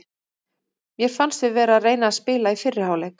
Mér fannst við vera að reyna að spila í fyrri hálfleik.